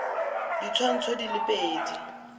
ka ditshwantsho di le pedi